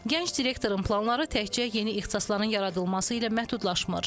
Gənc direktorun planları təkcə yeni ixtisasların yaradılması ilə məhdudlaşmır.